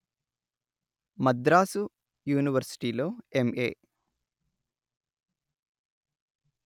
మద్రాసు యూనివర్శిటీలో ఎంఏ